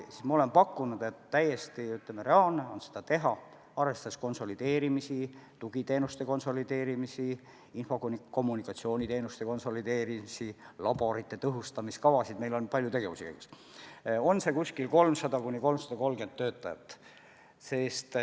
Ma olen pakkunud, et täiesti reaalne on, arvestades konsolideerimist, näiteks tugiteenuste konsolideerimist, info-kommunikatsiooniteenuste konsolideerimist, laborite tõhustamise kavasid – meil on palju tegevusi käigus –, kokku hoida 300–330 töökohta.